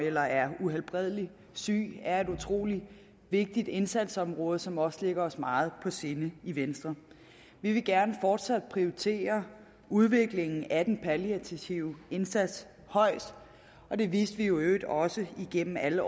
eller er uhelbredelig syge er et utrolig vigtigt indsatsområde som også ligger os meget på sinde i venstre vi vil gerne fortsat prioritere udviklingen af den palliative indsats højt det viste vi i øvrigt også igennem alle